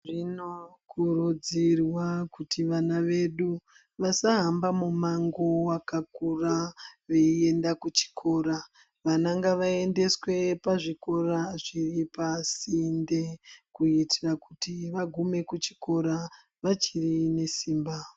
Zvino kurudzirwa kuti vana vedu vasahamba mumango wakakura veienda kuchikora. Vana ngavaendeswe pazvikora zviri pasinde kuitira kuti vagume pachikora vachiri nesimba.